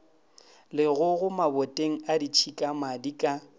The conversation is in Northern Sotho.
legogo maboteng a ditšhikamadi ka